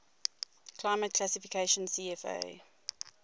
climate classification cfa